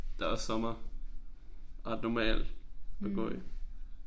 Det også sommer. Ret normalt at gå i